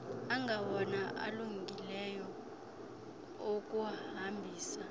angawona alungileyo okuhambisa